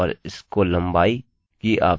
आपके पास 250 अक्षरोंकैरेक्टर्सकी लंबाई हो सकती है